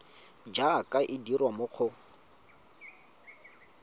jaaka e dirwa mo go